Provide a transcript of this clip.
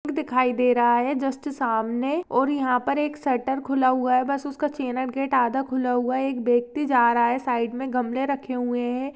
दिखाई दे रहा है जस्ट सामने और यहां पर एक शटर खुला हुआ है बस उसका चैनल गेट आधा खुला हुआ एक व्यक्ति जा रहा है साइड में गमले रखे हुए हैं।